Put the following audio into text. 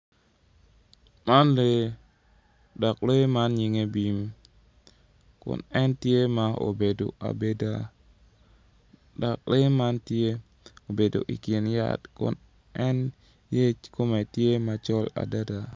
Man lee dok lee man nyinge bim kun en tye ma obedo abeda dok lee man tye obedo ikin yat en yec kome tye macol adaada